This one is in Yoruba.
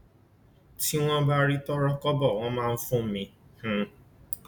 tí wọn bá rí tọrọkọbọ wọn máa fún mi um